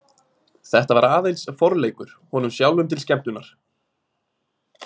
Þetta var aðeins forleikur, honum sjálfum til skemmtunar.